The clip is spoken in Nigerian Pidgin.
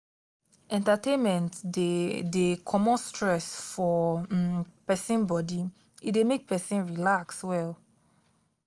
entertainment de de comot stress for um persin body e de make persin relax well